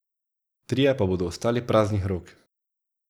Trije pa bodo ostali praznih rok.